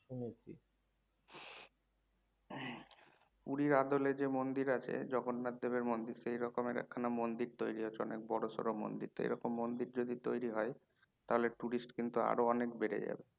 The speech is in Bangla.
পুরীর আদলে যে মন্দির আছে জগন্নাথ দেবের মন্দির সেই রকম একখানা মন্দির তৈরী হচ্ছে অনেক বড়সড়ো মন্দির তো এইরকম মন্দির যদি তৈরি হয় তাহলে tourist কিন্তু আরো অনেক বেড়ে যাবে